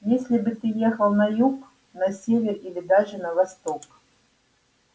если бы ты ехал на юг на север или даже на восток